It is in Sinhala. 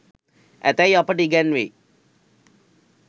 ඇතැයි අපට ඉගැන්වෙයි.